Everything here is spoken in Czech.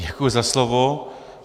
Děkuji za slovo.